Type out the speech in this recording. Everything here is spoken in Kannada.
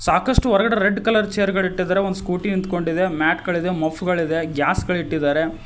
ಸಾಕಷ್ಟು ಹೊರಗಡೆ ರೆಡ್ ಕಲರ್ ಚೇರ್ ಗಲ್ ಇಟ್ಟಿದ್ದಾರೆ ಒಂದು ಸ್ಕೂಟಿ ನಿಂತ್ಕೊಂಡಿದೆ ಮ್ಯಾಟ್ ಗಳಿಗೆ ಮಫ್ ಗಳಿದೆ ಗ್ಯಾಸ್ ಗಳಿ ಇಟ್ಟಿದ್ದಾರೆ.